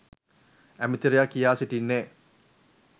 ඇමතිවරයා කියා සිටින්නේ